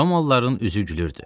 Romalıların üzü gülürdü.